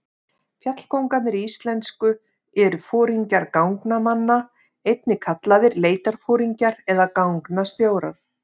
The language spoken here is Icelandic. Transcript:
Fjallkóngarnir íslensku eru foringjar gangnamanna, einnig kallaðir leitarforingjar eða gangnastjórar.